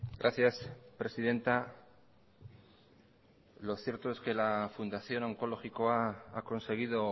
gracias presidenta lo cierto es que la fundación onkologikoa ha conseguido